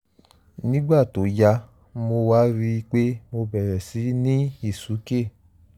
nígbà tó yá mo wá rí i pé mo bẹ̀rẹ̀ síí ní ìsúkè